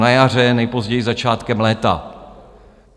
Na jaře, nejpozději začátkem léta.